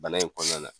Bana in kɔnɔna na